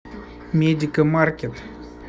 медикамаркет